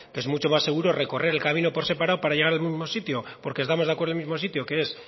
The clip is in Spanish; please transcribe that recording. que es mucho más seguro recorrer el camino por separado para llegar al mismo sitio porque estamos de acuerdo en el mismo sitio que es